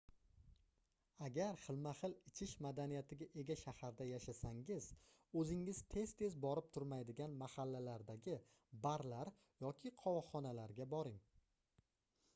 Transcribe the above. agar xilma-xil ichish madaniyatiga ega shaharda yashasangiz oʻzingiz tez-tez borib turmaydigan mahallalardagi barlar yoki qovoqxonalarga boring